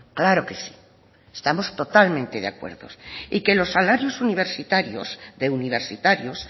claro que sí estamos totalmente de acuerdo y que los salarios universitarios de universitarios